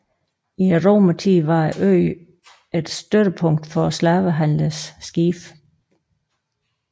I romertiden var øen et støttepunkt for slavehandlernes skibe